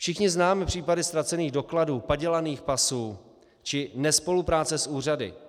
Všichni známe případy ztracených dokladů, padělaných pasů či nespolupráce s úřady.